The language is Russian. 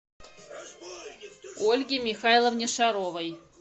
ольге михайловне шаровой